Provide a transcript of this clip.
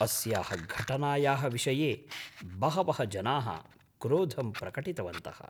अस्याः घटनायाः विषये बहवः जनाः क्रोधं प्रकटितवन्तः।